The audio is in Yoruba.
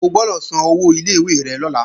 O gbọ́dọ̀ san owó ilé ìwé rẹ lọ́la